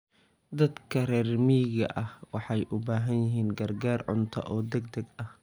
Dadka reer miyiga ah waxay u baahan yihiin gargaar cunto oo degdeg ah.